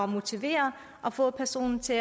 motivere og få personen til